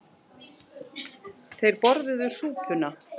Þeir borðuðu súpuna.